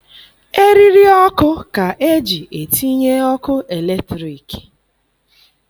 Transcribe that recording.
Eriri ọkụ ka eji etinye ọkụ eletrik.